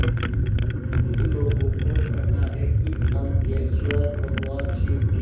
कुछ लोगों को कहना है कि अम्बकेश्वर भगवान शिव के